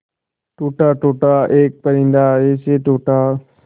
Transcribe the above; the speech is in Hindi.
टूटा टूटा एक परिंदा ऐसे टूटा